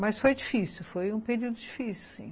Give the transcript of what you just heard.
Mas foi difícil, foi um período difícil, sim.